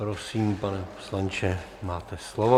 Prosím, pane poslanče, máte slovo.